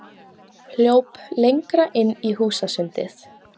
Hljóp lengra inn í húsasundið.